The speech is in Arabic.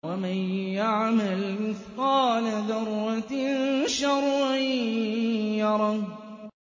وَمَن يَعْمَلْ مِثْقَالَ ذَرَّةٍ شَرًّا يَرَهُ